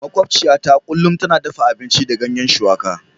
Makwabciyata kullum tana dafa abinci da ganyen shuwaka.